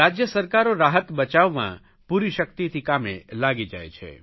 રાજય સરકારો રાહત બચાવમાં પૂરી શકિતથી કામે લાગી જાય છે